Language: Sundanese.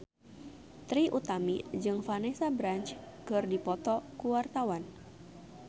Trie Utami jeung Vanessa Branch keur dipoto ku wartawan